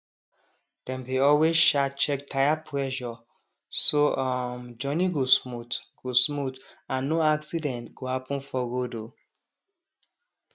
dem dey always um check tire pressure so um journey go smooth go smooth and no accident go happen for road um